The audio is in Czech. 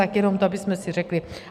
Tak jenom to abychom si řekli.